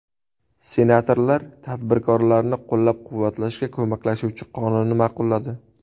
Senatorlar tadbirkorlarni qo‘llab-quvvatlashga ko‘maklashuvchi qonunni ma’qulladi.